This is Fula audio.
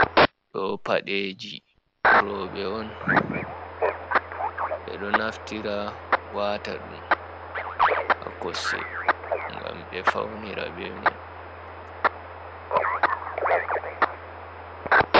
Ɗo paɗeji roɓɓe on ɓe ɗo naftira wata ɗum ha kosɗe gam ɓe faunira be mai.